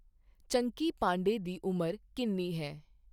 ਚੰਕੀ ਪਾਂਡੇ ਦੀ ਉਮਰ ਕਿੰਨੀ ਹੈ